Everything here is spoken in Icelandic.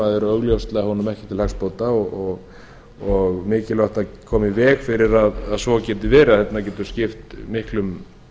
eru augljóslega honum ekki til hagsbóta og mikilvægt að koma í veg fyrir að svo geti verið þess vegna getur skipt miklum